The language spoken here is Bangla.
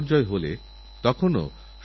দেশবিদেশে সামগ্রিকভাবে এর আলোচনা হচ্ছে